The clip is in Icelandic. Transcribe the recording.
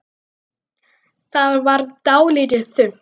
Það varð dálítið þunnt.